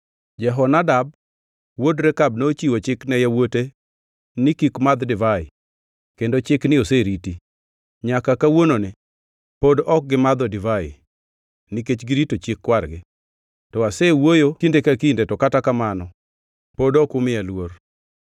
‘Jehonadab wuod Rekab nochiwo chik ne yawuote ni kik madh divai kendo chikni oseriti. Nyaka kawuononi pod ok gimadho divai, nikech girito chik kwargi. To asewuoyo kinde ka kinde, to kata kamano pod ok umiya luor.